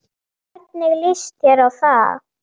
Hvernig litist þér á það?